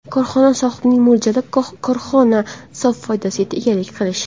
Korxona sohibining mo‘ljali – korxona sof foydasiga egalik qilish.